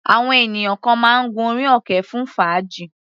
Àwọn ènìyàn kan máa ń gun orí òkè fún fàájì.